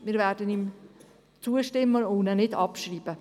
Wir werden ihm also zustimmen, ihn jedoch nicht abschreiben.